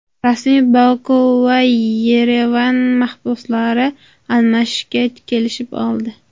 Rasmiy Boku va Yerevan mahbuslarni almashishga kelishib oldi.